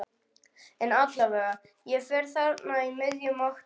En allavega, ég fer þarna í miðjum október.